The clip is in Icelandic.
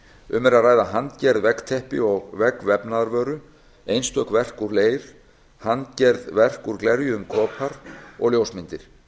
um er að ræða handgerð veggteppi og veggvefnaðarvöru einstök verk úr leir handgerð verk úr glerjuðum kopar og ljósmyndir